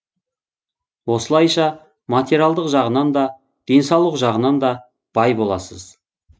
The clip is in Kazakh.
осылайша материялдық жағынан да денсаулық жағынан да бай боласыз